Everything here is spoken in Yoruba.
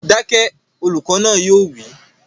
Dákẹ́! Olùkọ́ náà yóò wí